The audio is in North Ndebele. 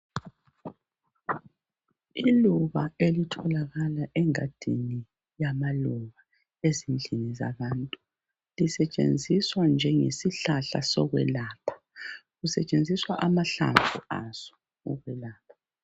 Iluba elitholakala engadini yamaluba ezindlini zabantu, lisetshenziswa njengesihlahla sokwelapha, kusetshenziswa amahlamvu aso ukwelepha